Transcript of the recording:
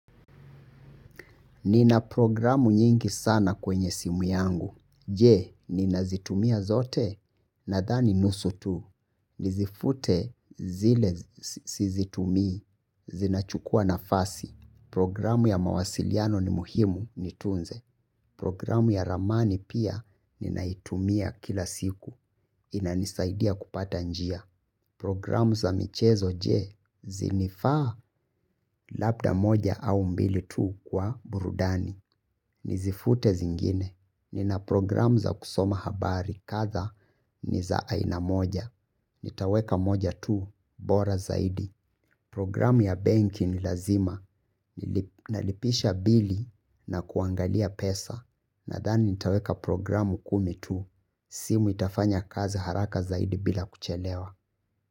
Nina programu nyingi sana kwenye simu yangu. Je, ninazitumia zote nadhani nusu tu. Nizifute zile sizitumi, zinachukua nafasi. Programu ya mawasiliano ni muhimu ni tunze. Programu ya ramani pia ninaitumia kila siku. Inanisaidia kupata njia. Programu za michezo je zinifaa labda moja au mbili tu kwa burudani. Nizifute zingine. Nina programu za kusoma habari kadha ni za aina moja. Nitaweka moja tu bora zaidi. Programu ya benki ni lazima. Nalipisha bili na kuangalia pesa. Nadhani nitaweka programu kumi tu. Simu itafanya kazi haraka zaidi bila kuchelewa.